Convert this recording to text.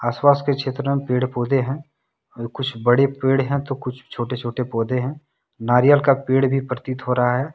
आस पास के क्षेत्र में पेड़ पौधे हैं और कुछ बड़े पेड़ हैं तो कुछ छोटे छोटे पौधे हैं नारियल का पेड़ भी प्रतीत हो रहा है।